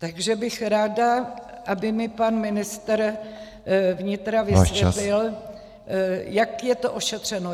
Takže bych ráda, aby mi pan ministr vnitra vysvětlil , jak je to ošetřeno.